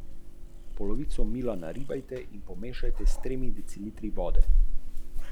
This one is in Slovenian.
Na Švedskem, na primer, ni več glavni cilj pri osemnajstih opraviti vozniški izpit.